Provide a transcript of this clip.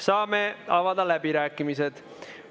Saame avada läbirääkimised.